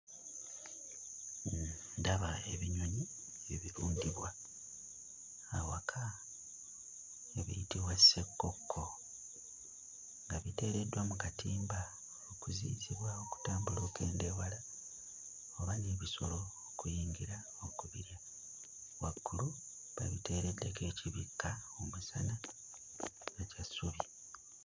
Ndaba ebinyonyi ebirundibwa awaka, ebiyitibwa ssekkoko nga biteereddwa mu katimba okuziyizibwa okutambula okugenda ewala oba n'ebisolo okuyingira okubirya, waggulu babiteereddeko ekibikka omusana eky'essubi.